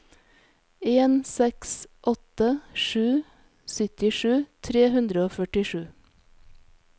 en seks åtte sju syttisju tre hundre og førtisju